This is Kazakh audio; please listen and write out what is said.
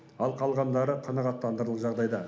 ал қалғандары қанағаттанарлық жағдайда